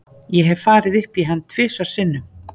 Ég hef farið upp í hann tvisvar sinnum.